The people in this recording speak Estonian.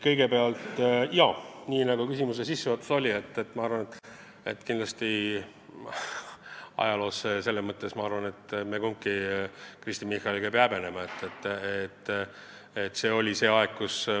Kõigepealt, jaa, nii nagu küsimuse sissejuhatuses kõlas, kindlasti me kumbki Kristen Michaliga ei pea ajaloos tehtut häbenema.